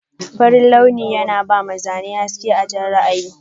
Farin launi yana bama Zane haske a Jan ra'ayi.